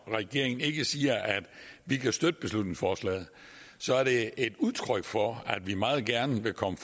i regeringen ikke siger at vi kan støtte beslutningsforslaget så er det ikke et udtryk for at vi ikke meget gerne vil komme